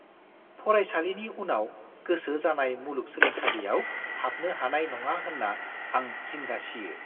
फरायसालिनि उनाव गोसो जानाय मुलुगसोलोंसालियाव हाबनो हानाय नङा होन्ना आं जिंगा सियो।